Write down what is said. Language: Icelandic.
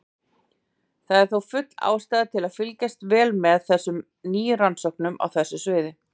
Það er þó full ástæða til að fylgjast vel með nýjum rannsóknum á þessu sviði.